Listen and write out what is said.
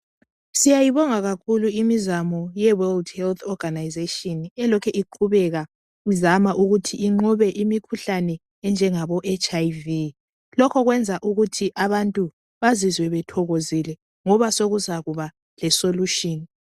Siyayibonga kakhulu imizamo ye "World Health Organisation" elokhe iqhubeka izama ukuthi inqobe imikhuhlane enjangabo HIV.Lokho kwenza ukuthi abantu bazizwe bethokozile ngoba sokuzaba le "solution".